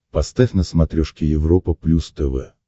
поставь на смотрешке европа плюс тв